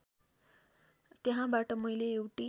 त्यहाँबाट मैले एउटी